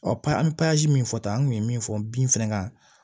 pasi min fɔta an kun ye min fɔ bin fɛnɛ kan